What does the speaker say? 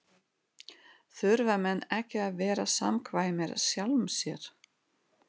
Þurfa menn ekki að vera samkvæmir sjálfum sér?